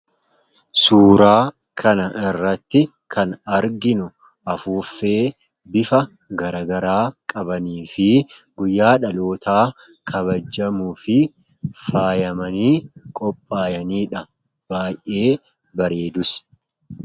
Suuraa kana irratti kan arginu afuuffee bifa garagaraa qabanii fi guyyaa dhalootaa kabajjamu fi faayamanii qophaayaniidha baay'ee bareedus.